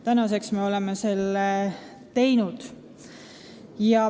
Tänaseks me oleme seda teinud.